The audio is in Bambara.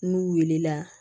N'u wulila